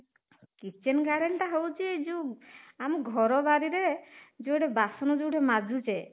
kitchen garden ଟା ହଉଛି ଯୋଉ ଆମ ଘର ବାରିରେ ଯୋଉଠି ବାସନ ଯୋଉଠି ମାଜୁଛେ